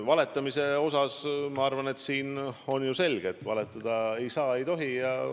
Valetamise kohta ma arvan, et loomulikult valetada ei tohi.